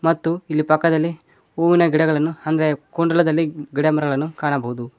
ಮತ್ತು ಇಲ್ಲಿ ಪಕ್ಕದಲ್ಲಿ ಹೂವಿನ ಗಿಡಗಳನ್ನು ಅಂದ್ರೆ ಕೊಂಡಲದಲ್ಲಿ ಗಿಡಮರಗಳನ್ನು ಕಾಣಬಹುದು.